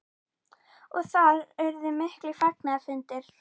Og þarna urðu miklir fagnaðarfundir?